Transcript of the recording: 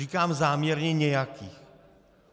Říkám záměrně nějakých.